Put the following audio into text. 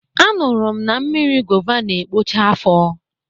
A nụrụ m na mmiri gova n'ekpocha afo